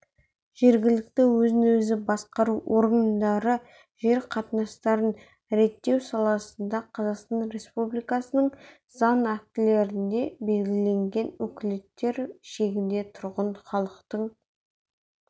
жергілікті өзін-өзі басқару органдары жер қатынастарын реттеу саласында қазақстан республикасының заң актілерінде белгіленген өкілеттіктер шегінде тұрғын халықтың